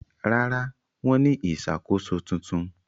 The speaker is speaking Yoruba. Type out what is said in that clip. Rárá, wọ́n ní ìṣàkóso tuntun?